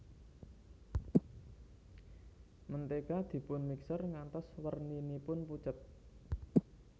Mentega dipun mixer ngantos werninipun pucet